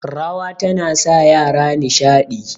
rawa tana sa yara nishadi